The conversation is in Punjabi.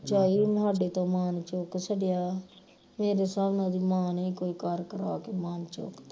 ਝਾਈ ਇਹਨੂੰ ਹਾਡੇ ਤੋਂ ਮਾਣ ਚੁੱਕ ਛੱਡਿਆ ਮੇਰੇ ਹਿਸਾਬ ਨਾਲ ਉਹਦੀ ਮਾਂ ਨੇ ਹੀ ਕੋਈ ਕਰ ਕਰਾ ਕੇ ਮਾਣ ਚੁੱਕਤਾ